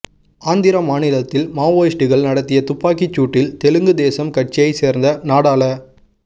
ஆந்திர மாநிலத்தில் மாவோயிஸ்டுகள் நடத்திய துப்பாக்கிச்சூட்டில் தெலுங்கு தேசம் கட்சியைச் சேர்ந்த நாடாள